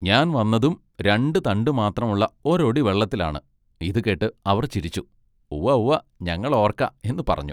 ഞാൻ വന്നതും രണ്ടു തണ്ടു മാത്രം ഉള്ള ഒരൊടി വള്ളത്തെലാണ് ഇതു കേട്ട് അവർ ചിരിച്ചു "ഉവ്വ ഉവ്വ ഞങ്ങൾ ഓർക്കാ എന്നു പറഞ്ഞു.